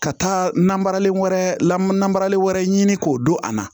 Ka taa namaralen wɛrɛ la na maralen wɛrɛ ɲini k'o don a la